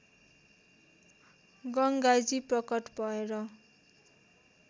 गङ्गाजी प्रकट भएर